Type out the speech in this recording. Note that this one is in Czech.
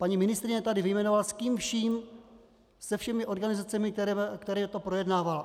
Paní ministryně tady vyjmenovala, s kým vším, se všemi organizacemi, kterými to projednávala.